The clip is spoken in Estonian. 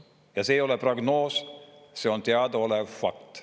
Ja see ei ole prognoos, see on teadaolev fakt.